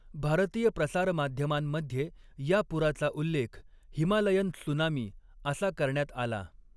भारतीय प्रसारमाध्यमांमध्ये या पुराचा उल्लेख 'हिमालयन त्सुनामी' असा करण्यात आला.